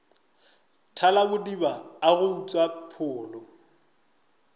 thalabodiba a go utswa pholo